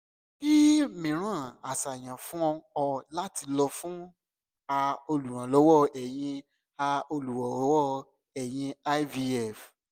ki miiran aṣayan fun o ni lati lọ fun a oluranlowo eyin a oluranlowo eyin ivf